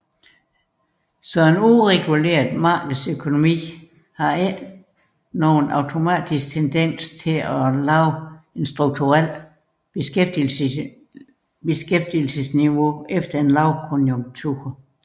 Dermed har en ureguleret markedsøkonomi ikke nogen automatisk tendens til at genskabe et strukturelt beskæftigelsesniveau efter en lavkonjunktur